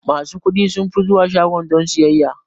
Masu kuɗi sunfi zuwa shaguna don sayayya.